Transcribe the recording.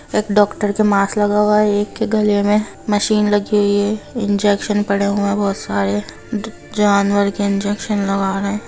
एक डॉक्टर के मास्क लगा हुआ है एक के गले में मशीन लगी हुई है इंजेक्शन पड़े हुए बहुत सारे जा जानवर के इंजेक्शन लगा रहे है।